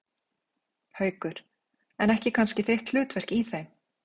Haukur: En ekki kannski þitt hlutverk í þeim?